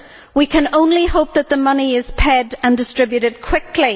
We can only hope that the money is paid and distributed quickly.